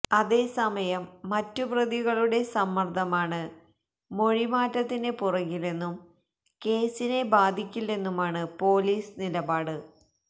അതേസമയം മറ്റുപ്രതികളുടെ സമ്മര്ദമാണ് മൊഴിമാറ്റത്തിന് പുറകിലെന്നും കേസിനെ ബാധിക്കില്ലെന്നുമാണ് പൊലീസ് നിലപാട്